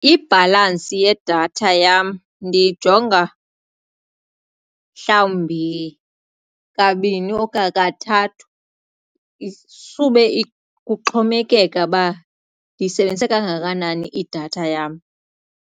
Ibhalantsi yedatha yam ndiyijonga mhlawumbi kabini okanye kathathu sube kuxhomekeka ukuba ndiyisebenzise kangakanani idatha yam.